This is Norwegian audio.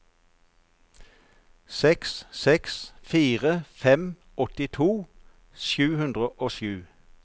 seks seks fire fem åttito sju hundre og sju